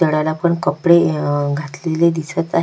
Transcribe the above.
घरात आपण कपडे अ घातलेले दिसत आहे.